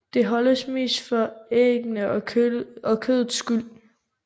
Den holdes mest for æggenes og kødets skyld